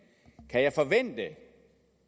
kan jeg forvente